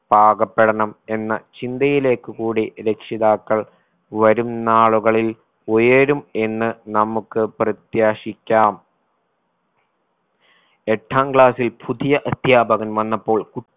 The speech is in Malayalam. പാകപ്പെടണം എന്ന് ചിന്തയിലേക്ക് കൂടി രക്ഷിതാക്കൾ വരും നാളുകളിൽ ഉയരും എന്ന് നമുക്ക് പ്രത്യാശിക്കാം എട്ടാം class ൽ പുതിയ അധ്യാപകൻ വന്നപ്പോൾ